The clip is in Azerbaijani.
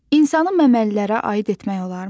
İnsanı məməlilərə aid etmək olarmı?